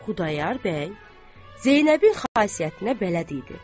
Xudayar bəy Zeynəbin xasiyyətinə bələd idi.